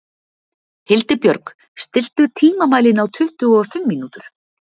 Hildibjörg, stilltu tímamælinn á tuttugu og fimm mínútur.